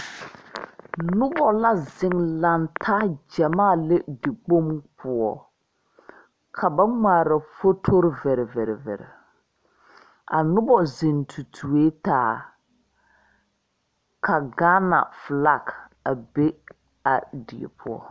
Nuba la zeng lang taa jamaa le dekpong pou ka ba ngmaare fotori viriviri biri a nuba zeng tutue taa ka Gaana flag a be a die puo.